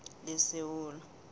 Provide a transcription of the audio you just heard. lesewula